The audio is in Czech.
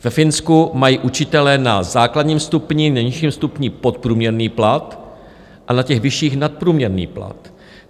Ve Finsku mají učitelé na základním stupni, nejnižším stupni, podprůměrný plat a na těch vyšších nadprůměrný plat.